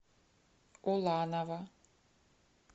уланова